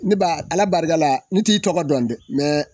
Ne ba ala barika la ni t'i tɔgɔ dɔn dɛ mɛ